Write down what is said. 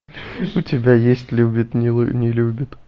у тебя есть любит не любит